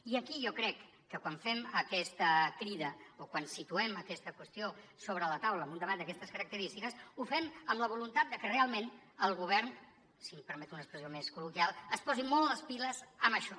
i aquí jo crec que quan fem aquesta crida o quan situem aquesta qüestió sobre la taula amb un debat d’aquestes característiques ho fem amb la voluntat de que realment el govern si em permet una expressió més col·loquial es posi molt les piles en això